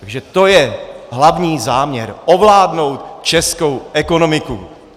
Takže to je hlavní záměr - ovládnout českou ekonomiku.